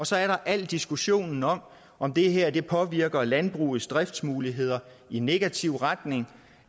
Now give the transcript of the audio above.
så er der al diskussionen om om det her påvirker landbrugets driftsmuligheder i negativ retning